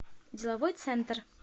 деловой центр